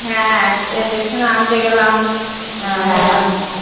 হ্যাঁ station এ আন্তে গেলাম